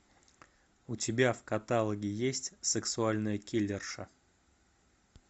у тебя в каталоге есть сексуальная киллерша